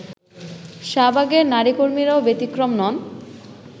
শাহবাগের নারীকর্মীরাও ব্যতিক্রম নন